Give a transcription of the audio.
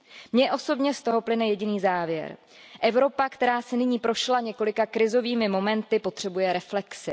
Mně osobně z toho plyne jediný závěr Evropa, která si nyní prošla několika krizovými momenty, potřebuje reflexi.